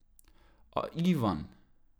A Ivan?